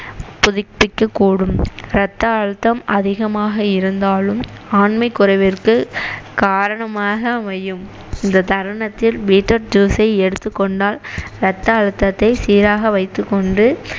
புதுப்பிக்கக்கூடும் ரத்த அழுத்தம் அதிகமாக இருந்தாலும் ஆண்மைக்குறைவிற்கு காரணமாக அமையும் இந்த தருணத்தில் beet root juice ஐ எடுத்துக்கொண்டால் ரத்த அழுத்தத்தை சீராக வைத்துக்கொண்டு